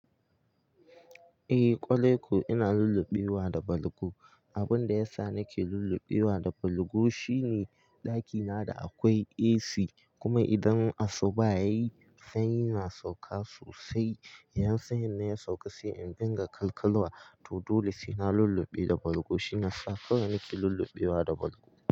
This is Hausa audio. Eh, ƙwarai ko ina lullubewa da balgu. Abin da ya sa nake lullubewa da balgu shine ɗakina da akwai AC, kuma idan asuba yayi sanyi na sauka sosai. Yan sanyin na ya sauka sai in dinga kalkalawa. To dole sai na lulluɓe da balgu. Shine ya sa kowa nake lullubewa da balgu.